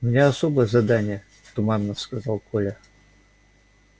у меня особое задание туманно сказал коля